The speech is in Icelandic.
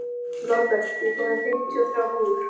Norbert, ég kom með fimmtíu og þrjár húfur!